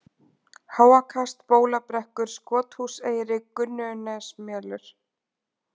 Háakast, Bólabrekkur, Skothúseyri, Gunnunesmelur